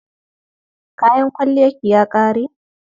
Kayan kwalliyarki ya ƙare?